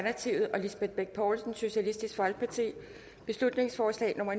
lisbeth bech poulsen beslutningsforslag nummer